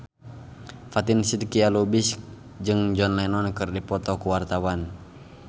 Fatin Shidqia Lubis jeung John Lennon keur dipoto ku wartawan